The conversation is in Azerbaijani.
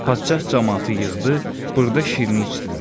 Padşah camaatı yığdı, burda şirin içdilər.